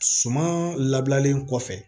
Suman labilalen kɔfɛ